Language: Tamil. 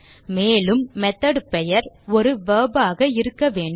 மேலும் மெத்தோட் பெயர் ஒரு வெர்ப் ஆக இருக்க வேண்டும்